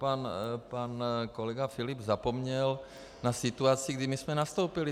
Pan kolega Filip zapomněl na situaci, kdy my jsme nastoupili.